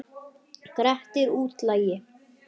Grettir útlagi.